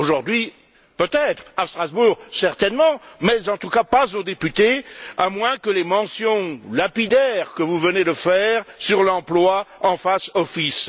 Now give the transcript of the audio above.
Aujourd'hui peut être, à Strasbourg certainement, mais en tout cas pas aux députés à moins que les mentions lapidaires que vous venez de faire sur l'emploi en fassent office.